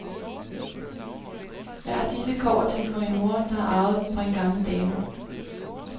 Jeg har disse kobberting fra min mor, der havde arvet dem fra en gammel dame.